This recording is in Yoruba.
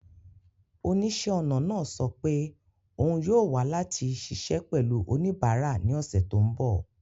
Oníṣẹ́-ọnà náà sọ pé òun yóò wà láti ṣiṣẹ́ pẹ̀lú oníbàárà ní ọ̀sẹ̀ tó ń bọ̀.